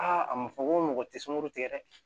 Aa a ma fɔ ko mɔgɔ tɛ sunguru tigɛ